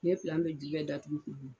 N'i ye pilan bɛɛ ju bɛɛ datuguku